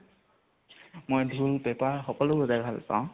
মই ধোল পেপা সকলো বজাই ভাল পাওঁ